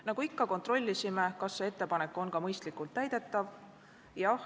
Nagu ikka kontrollisime, kas see ettepanek on ka mõistlikult täidetav.